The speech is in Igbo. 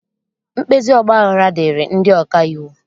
mkpezi ọgbaghara dịịrị ndị ọka iwu.